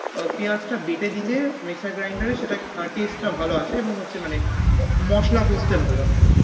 পেয়াজটা বেটে দিলে mixer grinder এ সেটা taste টা ভাল আসে এবং ওইতো মানে মসলা করতে ভালো হয়।